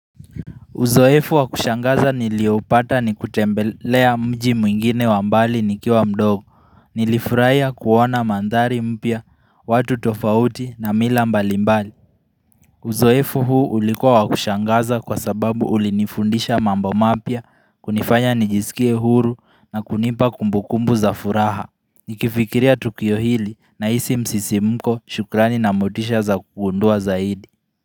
Uzoefu wa kushangaza niliopata ni kutembelea mji mwingine wa mbali nikiwa mdogo, nilifurahia kuona mandhari mpya, watu tofauti na mila mbali mbali. Uzoefu huu ulikuwa wa kushangaza kwa sababu ulinifundisha mambo mapya, kunifanya nijisikie huru na kunipa kumbukumbu za furaha. Nikifikiria Tukio hili nahisi msisimko shukrani na motisha za kugundua zaidi.